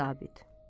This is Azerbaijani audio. Yaralı zabit.